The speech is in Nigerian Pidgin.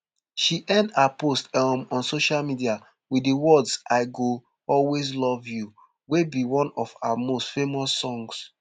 she end her post um on social media wit di words i go always love you wey be one of her most famous songs